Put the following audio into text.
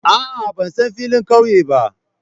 A'a, ban san filin ƙauye ba